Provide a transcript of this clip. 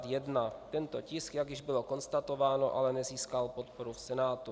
Tento tisk, jak již bylo konstatováno, ale nezískal podporu v Senátu.